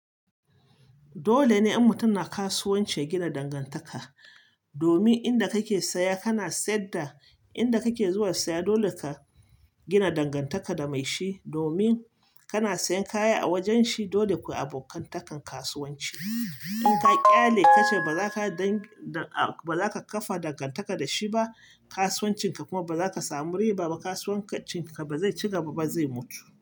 Dole ne in mutum na kasuwanci ya gina dangantaka domin inda kake saya kana saida, inda kake zuwa saya dole ka gina dangantaka da mai shi domin kana sayan kaya a wajen shi. Dole kui bokantakan kasuwanci. In ka ƙyale ka ce ba za ka kafa dangantaka da shi ba, kasuwancin ka kuma ba za ka samu riba ba, kasuwancin ka ba zai ci gaba ba, zai mutu.